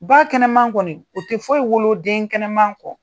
Ba kɛnɛ man kɔni o tɛ fɔye wolo den kɛnɛman kɔ.